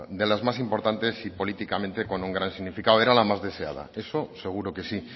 de las más importantes y políticamente con un gran significado era la más deseada eso seguro que sí